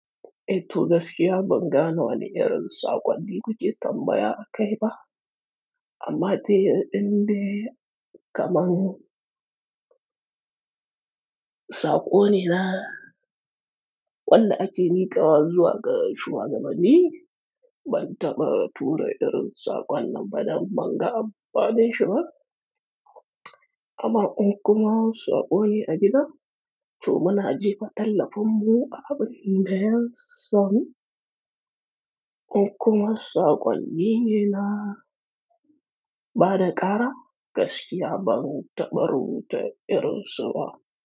Eh to, gaskiya bangane wani irin saƙonnni kuke tambaya akai ba, amma ta yin ɗin de kaman, saƙo ne na wanda ake miƙawa zuwa ga shuwagaban ni, ban taɓa tura irin saƙon nan ba da ban ga amfanin shi ba. Kaman in kuma saƙo ne a gida to muna jefa tallafin mu a abun da ya samu, kokuma saƙonni ne naa ba da ƙara, gaskiya ban taɓa rubuta irin su ba.